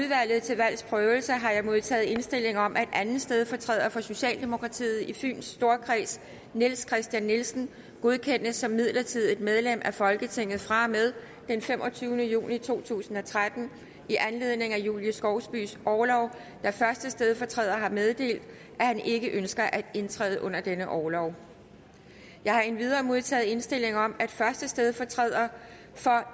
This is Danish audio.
udvalget til valgs prøvelse har jeg modtaget indstilling om at anden stedfortræder for socialdemokratiet i fyns storkreds niels christian nielsen godkendes som midlertidigt medlem af folketinget fra og med den femogtyvende juni to tusind og tretten i anledning af julie skovsbys orlov da første stedfortræder har meddelt at han ikke ønsker at indtræde under denne orlov jeg har endvidere modtaget indstilling om at første stedfortræder for